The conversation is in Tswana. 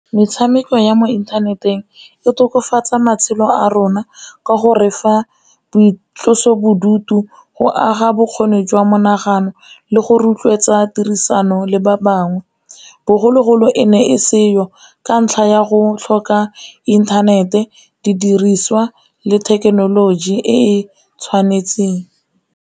Metshameko ya mo inthaneteng e tokafatsa matshelo a rona ka go refa boitlosobodutu, go aga bokgoni jwa monagano, le go rotloetsa tiriso ano le ba bangwe. Bogologolo e ne e seo ka ntlha ya go tlhoka inthanete, didiriswa le thekenoloji e e tshwanetseng.